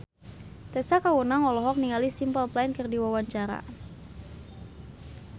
Tessa Kaunang olohok ningali Simple Plan keur diwawancara